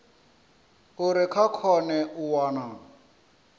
uri vha kone u wana